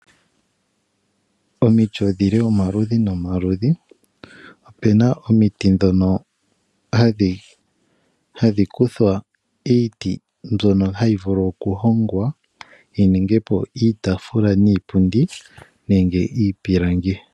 Omiti odhili omaludhi nomaludhi, opena omiti dhono hadhi kuthwa iiti mbyono hayi vulu oku hongwa yi ninge po iitafuula niipundi nenge iipilangi.